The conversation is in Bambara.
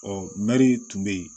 Ɔ mɛri tun bɛ yen